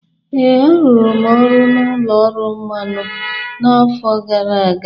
Ee, arụrụ m ọrụ n’ụlọ ọrụ mmanụ n’afọ gara aga.